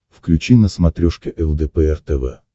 включи на смотрешке лдпр тв